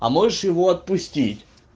а можешь его отпустить